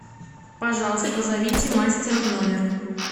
пожалуйста позовите мастера в номер